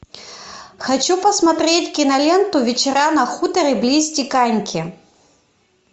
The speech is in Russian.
хочу посмотреть киноленту вечера на хуторе близ диканьки